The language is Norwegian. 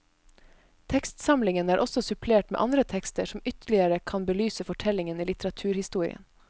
Tekstsamlingen er også supplert med andre tekster som ytterligere kan belyse fortellingen i litteraturhistorien.